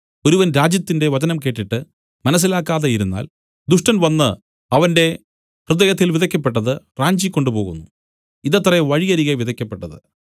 ഒരുവൻ രാജ്യത്തിന്റെ വചനം കേട്ടിട്ട് മനസ്സിലാക്കാതെ ഇരുന്നാൽ ദുഷ്ടൻ വന്നു അവന്റെ ഹൃദയത്തിൽ വിതയ്ക്കപ്പെട്ടത് റാഞ്ചിക്കൊണ്ടുപോകുന്നു ഇതത്രെ വഴിയരികെ വിതയ്ക്കപ്പെട്ടത്